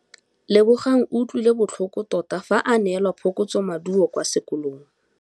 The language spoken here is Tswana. Lebogang o utlwile botlhoko tota fa a neelwa phokotsômaduô kwa sekolong.